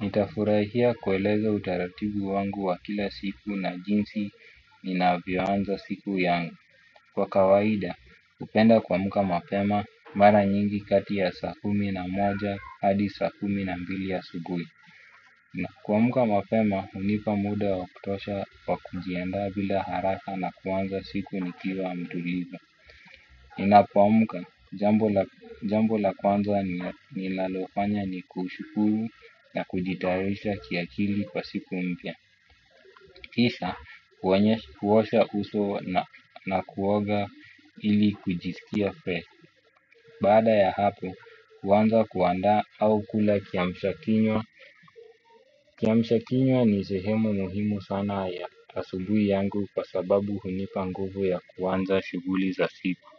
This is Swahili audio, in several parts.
Nitafurahia kueleza utaratibu wangu wa kila siku na jinsi ninavyoanza siku yangu. Kwa kawaida hupenda kuamuka mapema mara nyingi kati ya saa kumi na moja hadi saa kumi na mbili a subuhi. Na kuamuka mapema hunipa muda wa kutosha wa kujiandaa bila haraka na kuanza siku ni kiwa mtulivu ninapoamuka jambo la kwanza ninalofanya ni kushukuru na kujitayarisha kiakili kwa siku mpya. Kisha kuosha uso na kuoga ili kujisikia fresh. Baada ya hapo kuanza kuandaa au kula kiamshakinywa. Kiamshakinywa ni sehemu muhimu sana ya asubuhi yangu kwa sababu hunipa nguvu ya kuanza shughuli za siku.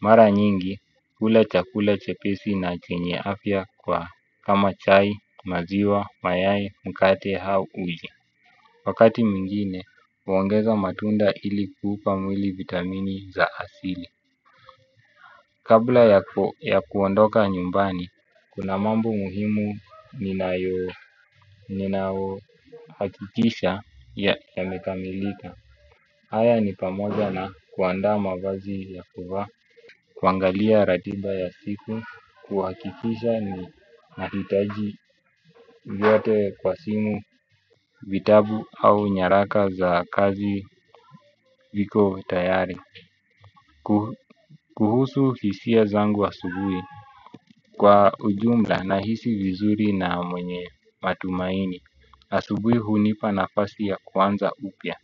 Mara nyingi hula chakula chepesi na chenye afya kwa kama chai maziwa mayai mkate hau uji. Wakati mwingine huongeza matunda ili kuupa mwili vitamini za asili. Kabla ya kuondoka nyumbani. Kuna mambo muhimu ninayo. Hakikisha ya yamekamilika. Haya ni pamoja na kuandaa mavazi ya kuvaa. Kuangalia ratiba ya siku kuhakifisa ni nahitaji vyote kwa simu vitabu au nyaraka za kazi viko tayari. Kuhusu hisia zangu asubuhi kwa ujumla na hisi vizuri na mwenye matumaini. Asubuhi hunipa nafasi ya kuanza upya.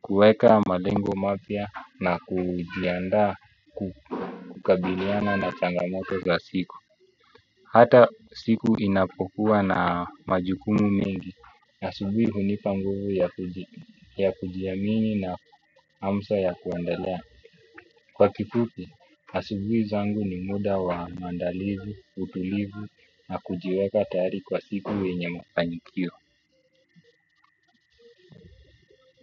Kuweka malengo mapya na kujiandaa kukabiliana na changamoto za siku. Hata siku inapokuwa na majukumu mengi. Asubuhi hunipa nguvu ya kujiamini na hamsa ya kuendelea. Kwa kifupi, asubuhi zangu ni muda wa maandalizi, utulivu na kujiweka tayari kwa siku yenye mafanikio.